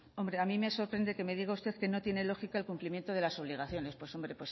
hombre a mí me sorprende que me diga usted que no tiene lógica el cumplimiento de las obligaciones pues hombre